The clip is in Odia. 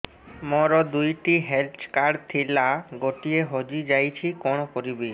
ମୋର ଦୁଇଟି ହେଲ୍ଥ କାର୍ଡ ଥିଲା ଗୋଟିଏ ହଜି ଯାଇଛି କଣ କରିବି